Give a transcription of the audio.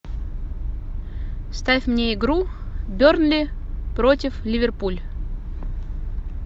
ставь мне игру бернли против ливерпуль